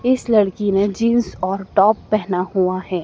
इस लड़की ने जींस और टॉप पहना हुआ है।